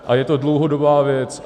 A je to dlouhodobá věc.